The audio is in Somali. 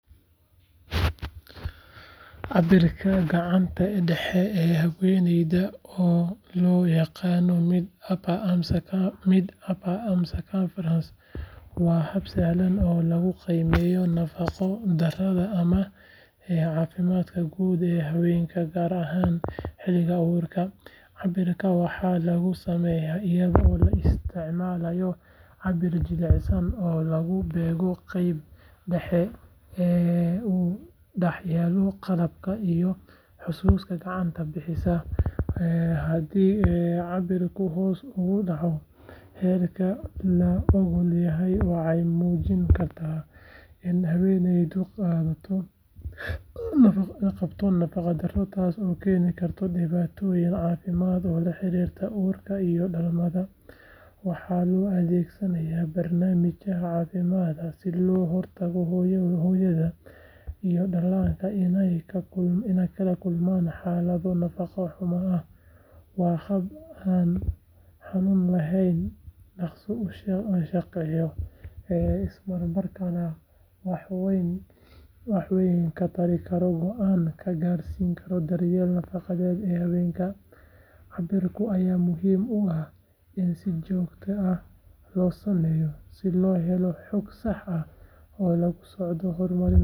Cabirka gacanta dhexe ee haweeneyda oo loo yaqaan mid upper arm circumference waa hab sahlan oo lagu qiimeeyo nafaqo darrada ama caafimaadka guud ee haweenka gaar ahaan xilliga uurka. Cabirkan waxaa lagu sameeyaa iyadoo la isticmaalayo cabbir jilicsan oo lagu beego qaybta dhexe ee u dhaxaysa garabka iyo xusulka gacanta bidix. Haddii cabirku hoos uga dhaco heerka la oggol yahay waxay muujin kartaa in haweeneydu qabto nafaqo darro taasoo keeni karta dhibaatooyin caafimaad oo la xiriira uurka iyo dhalmada. Waxaa loo adeegsadaa barnaamijyada caafimaadka si looga hortago hooyada iyo dhallaanka inay la kulmaan xaalado nafaqo xumo ah. Waa hab aan xanuun lahayn, dhaqso u shaqeeya, islamarkaana wax weyn ka tari kara go’aan ka gaarista daryeelka nafaqada ee haweenka. Cabirkan ayaa muhiim u ah in si joogto ah loo sameeyo si loo helo xog sax ah oo lagula socdo horumarka caafimaad ee haweeneyda. Waxaa muhiim ah in qofka cabbiraya uu si sax ah u barto meesha la beegayo iyo sida loo akhrinayo natiijada si loo helo jawaab lagu kalsoonaan.